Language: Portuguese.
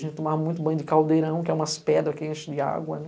A gente tomava muito banho de caldeirão, que é umas pedras que enchem de água, né?